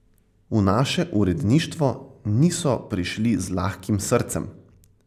V naše uredništvo niso prišli z lahkim srcem.